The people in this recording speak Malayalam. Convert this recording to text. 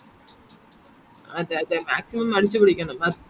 അ അതെ അതെ maximum അടിച്ചുപൊളിക്കണം ആ